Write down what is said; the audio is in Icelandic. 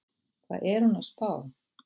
Hvað er hún að spá?